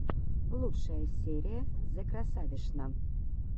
лучшая серия зэкрасавишна